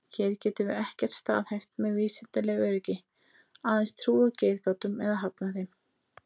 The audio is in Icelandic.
Hér getum við ekkert staðhæft með vísindalegu öryggi, aðeins trúað getgátum eða hafnað þeim.